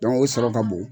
o sɔrɔ ka bon